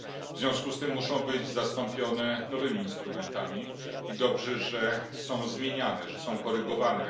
W związku z tym muszą być zastąpione nowymi instrumentami i dobrze, że są zmieniane, że są korygowane.